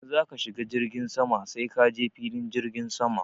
In za ka shiga jirgin sama sai ka je filin jirgin sama.